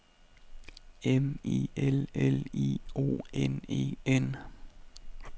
M I L L I O N E N